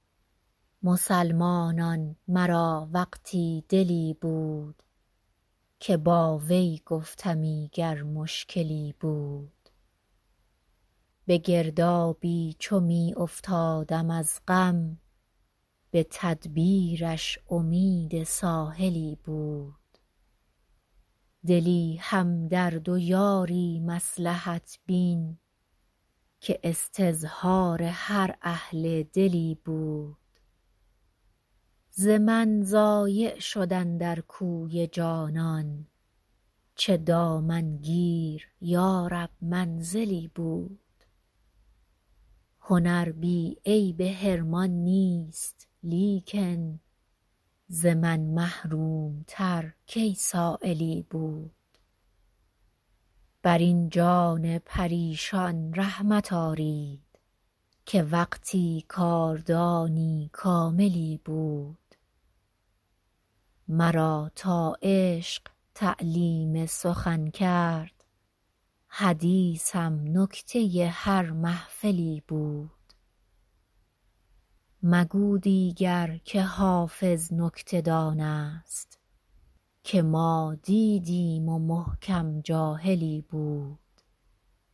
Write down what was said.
مسلمانان مرا وقتی دلی بود که با وی گفتمی گر مشکلی بود به گردابی چو می افتادم از غم به تدبیرش امید ساحلی بود دلی همدرد و یاری مصلحت بین که استظهار هر اهل دلی بود ز من ضایع شد اندر کوی جانان چه دامنگیر یا رب منزلی بود هنر بی عیب حرمان نیست لیکن ز من محروم تر کی سایلی بود بر این جان پریشان رحمت آرید که وقتی کاردانی کاملی بود مرا تا عشق تعلیم سخن کرد حدیثم نکته هر محفلی بود مگو دیگر که حافظ نکته دان است که ما دیدیم و محکم جاهلی بود